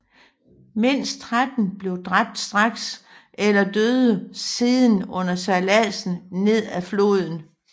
Mindst tretten blev dræbt straks eller døde siden under sejlladsen ned ad floden